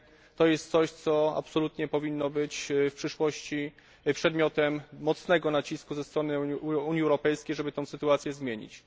To jest coś, co absolutnie powinno być w przyszłości przedmiotem mocnego nacisku ze strony Unii Europejskiej, żeby tę sytuację zmienić.